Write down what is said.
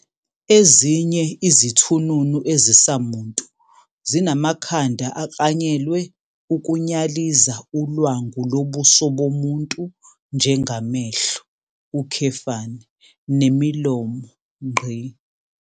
Ezinye izithununu ezisamuntu zinamakhanda aklanyelwe ukunyaliza ulwangu lobuso bomuntu njengamehlo, nemilomo.